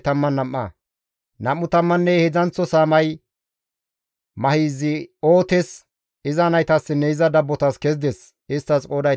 Nam7u tammanne heedzdzanththo saamay Mahizi7ootes, iza naytassinne iza dabbotas kezides; isttas qooday 12.